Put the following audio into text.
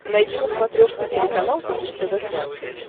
найди на смотрешке телеканал бридж тв классик